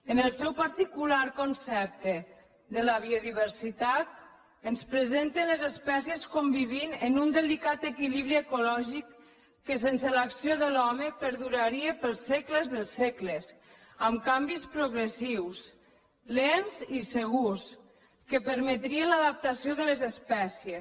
en el seu particular concepte de la biodiversitat ens presenten les espècies convivint en un delicat equilibri ecològic que sense l’acció de l’home perduraria pels segles dels segles amb canvis progressius lents i segurs que permetrien l’adaptació de les espècies